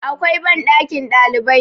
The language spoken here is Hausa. akwai banɗakin ɗalibai